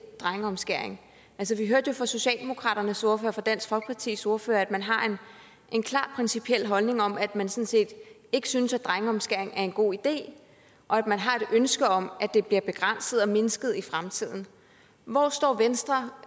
drengeomskæring vi hørte jo fra socialdemokraternes ordfører fra dansk folkepartis ordfører at man har en klar principiel holdning om at man sådan set ikke synes at drengeomskæring er en god idé og at man har et ønske om at det bliver begrænset og mindsket i fremtiden hvor står venstre